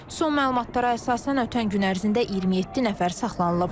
Son məlumatlara əsasən, ötən gün ərzində 27 nəfər saxlanılıb.